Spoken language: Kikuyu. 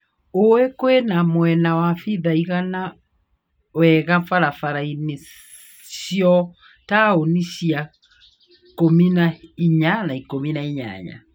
Olĩ kwĩna mwena wa pitha ĩigana wega barabara-inĩ cia taũni cia ikũmi na inya na ikũmi na inyanya.